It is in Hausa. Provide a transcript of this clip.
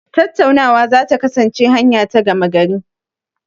Tattaunawa za ta kasance hanya ta gama gari.